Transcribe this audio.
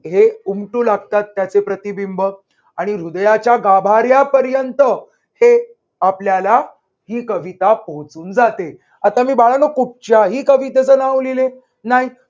हे उमटू लागतात त्याचे प्रतिबिंब आणि हृदयाच्या गाभार्‍यापर्यंत हे आपल्याला ही कविता पोहचून जाते. आता मी बाळानो कुठच्याही कवितेचं नाव लिहिले नाही.